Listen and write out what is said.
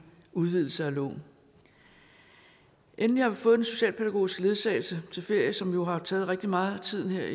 udvidelse af loven endelig har vi fået den socialpædagogiske ledsagelse til ferie som jo har taget rigtigt meget af tiden her